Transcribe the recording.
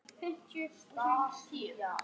Benna, hvað er á dagatalinu í dag?